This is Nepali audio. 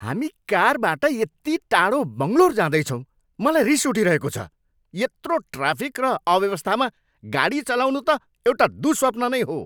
हामी कारबाट यत्ति टाडो बङ्गलोर जाँदैछौँ, मलाई रिस उठिरहेको छ। यत्रो ट्राफिक र अव्यवस्थामा गाडी चलाउनु त एउटा दुःस्वप्न नै हो!